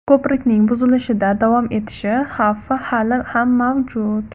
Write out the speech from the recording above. Ko‘prikning buzilishda davom etishi xavfi hali ham mavjud.